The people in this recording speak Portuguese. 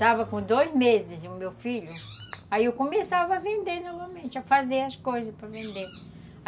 Estava com dois meses o meu filho, aí eu começava a vender novamente, a fazer as coisas para vender.